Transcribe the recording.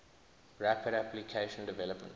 rapid application development